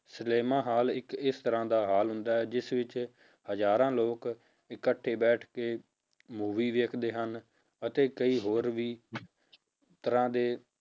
cinema hall ਇੱਕ ਇਸ ਤਰ੍ਹਾਂ ਦਾ ਹਾਲ ਹੁੰਦਾ ਹੈ ਜਿਸ ਵਿੱਚ ਹਜ਼ਾਰਾਂ ਲੋਕ ਇਕੱਠੇ ਬੈਠ ਕੇ ਮੂਵੀ ਵੇਖਦੇ ਹਨ, ਅਤੇ ਕਈ ਹੋਰ ਵੀ ਤਰ੍ਹਾਂ ਦੇ